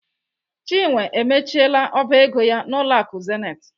Chinwe emechiela ọba ego ya n'ụlọ akụ Zenith.